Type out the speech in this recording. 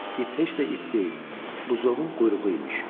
İp heç də ip deyil, buzovun quyruğu imiş.